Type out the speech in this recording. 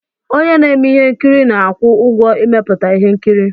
Onye na-eme ihe nkiri na-akwụ ụgwọ ịmepụta ihe nkiri.